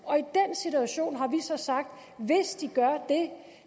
situation har vi så sagt at hvis de gør det